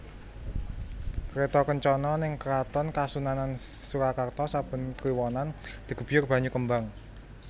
Kreto kencono ning Keraton Kasunanan Surakarta saben kliwonan digebyur banyu kembang